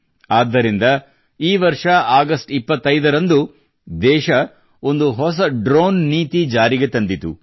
ಆದ್ದರಿಂದ ಈ ವರ್ಷ ಆಗಸ್ಟ್ 25 ರಂದು ದೇಶ ಒಂದು ಹೊಸ ಡ್ರೋನ್ ನೀತಿ ಜಾರಿಗೆ ತಂದಿತು